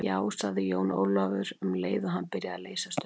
Já, sagði Jón Ólafur, um leið og hann byrjaði að leysast upp.